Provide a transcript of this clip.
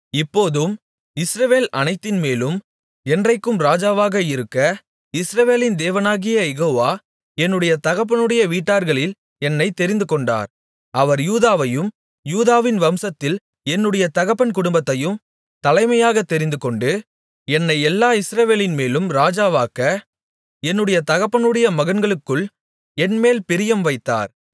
இப்போதும் இஸ்ரவேல் அனைத்தின்மேலும் என்றைக்கும் ராஜாவாக இருக்க இஸ்ரவேலின் தேவனாகிய யெகோவா என்னுடைய தகப்பனுடைய வீட்டார்களில் என்னைத் தெரிந்துகொண்டார் அவர் யூதாவையும் யூதாவின் வம்சத்தில் என்னுடைய தகப்பன் குடும்பத்தையும் தலைமையாகத் தெரிந்துகொண்டு என்னை எல்லா இஸ்ரவேலின்மேலும் ராஜாவாக்க என்னுடைய தகப்பனுடைய மகன்களுக்குள் என்மேல் பிரியம் வைத்தார்